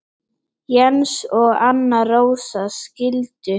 Jens og Anna Rósa skildu.